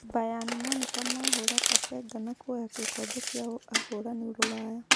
Bayani Monika mahũra Pasenga na kuoya gĩkombe kĩa ahũrani Ruraya.